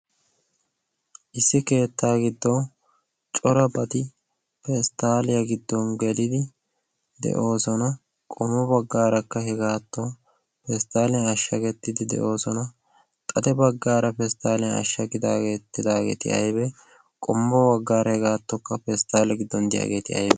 issi keettaa giddon corabati pesttaaliyaa giddon gelidi de'oosona qommo baggaarakka hegaattu pesttaaliyaa ashsha gettidi de'oosona xade baggaara pesttaaliyaa ashsha gidaayadaageeti aybbe qommo baggaara hegaattokka pesttaale giddon diyaageeti aybbe